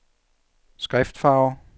skriftfarve